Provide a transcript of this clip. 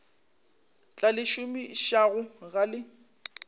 tla le šomišago ga le